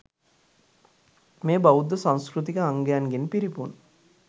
මෙය බෞද්ධ සංස්කෘතික අංගයන්ගෙන් පිරිපුන්